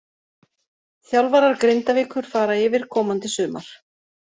Þjálfarar Grindavíkur fara yfir komandi sumar.